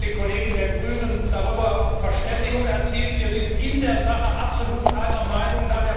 Ich habe aber mit den Kollegen der Grünen darüber eine Verständigung erzielt, wir sind in der Sache absolut einer Meinung.